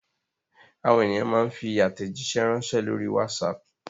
Àwọn ènìyàn máa ń fi àtẹ̀jíṣẹ́ ránṣẹ́ lórí WhatsApp.